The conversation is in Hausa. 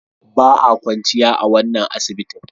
Ba a kwanciya a wannan asibitin.